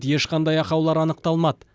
ешқандай ақаулар анықталмады